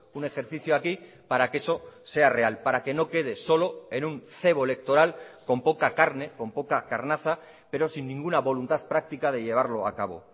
un ejercicio aquí para que eso sea real para que no quede solo en un cebo electoral con poca carne con poca carnaza pero sin ninguna voluntad práctica de llevarlo a cabo